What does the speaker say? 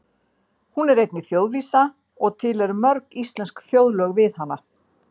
Hún er einnig þjóðvísa og til eru mörg íslensk þjóðlög við hana.